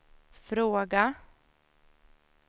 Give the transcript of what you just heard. fråga